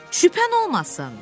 Şübhən olmasın.